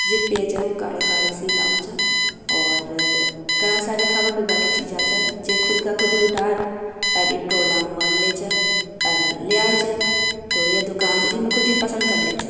जे पेज हाउ वो काली-काली सी काउ च और घणा सारी खाबा - पीबा की चीजा आजावे जे खुद का खुदी उटार अर ई ट्रोला मा लेजा और ले आउ च तो ये दुकान जिमे खुदी पसंद कर लेउ च।